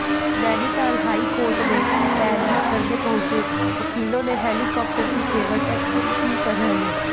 Nainital high court में पैरवी करने पहुंचे वकीलों ने हेलिकॉप्टर की सेवा टैक्सी की तरह ली